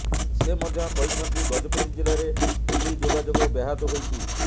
ସେ ମଧ୍ୟ କହିଛନ୍ତି ଗଜପତି ଜିଲ୍ଲାରେ ଟେଲି ଯୋଗାଯୋଗ ବ୍ୟାହତ ହୋଇଛି